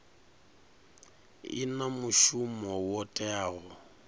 i na mushumo wo teaho